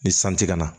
Ni san ti ka na